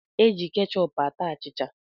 Eji kechọp ata achịcha.